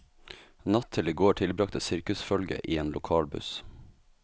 Natt til i går tilbragte sirkusfølget i en lokal buss.